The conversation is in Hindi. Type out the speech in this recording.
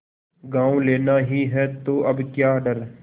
गॉँव लेना ही है तो अब क्या डर